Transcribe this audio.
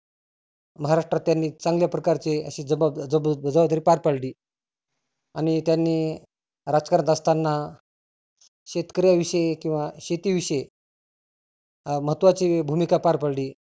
महाराष्ट्रात त्यांनी चांगल्या प्रकारचे असे जबा जबाब जाबाबदारी पार पाडली आणि त्यांनी राजकारण करत असताना शेतकऱ्या विषयी किंवा शेती विषयी महत्वाची भुमीका पार पाडली.